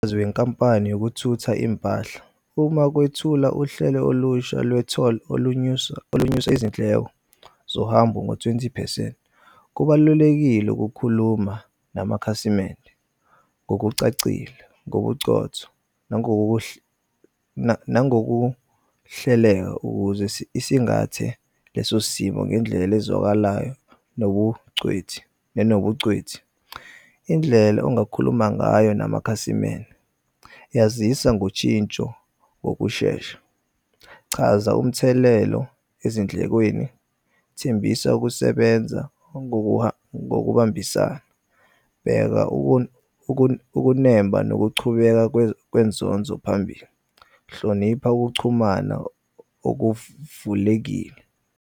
Izinkampani yokuthutha impahla uma kwethula uhlelo olusha lwe-tour olunyusa izindleko zohambo ngo-twenty phesenti kubalulekile ukukhuluma namakhasimende ngokucacile, ngobucotho nangokubuhle nangokuhleleka ukuze sisingathe lesosimo ngendlela ezwakalayo nobucweti. Indlela ongakhuluma ngayo namakhasimende, yazisa ngoshintsho ngokushesha. Chaza umthelelo ezindlekweni, thembisa ukusebenza ngokubambisana, bheka ukunemba nokuchubeka kwenzonzo phambili, hlonipha ukuchumana okuvulekile.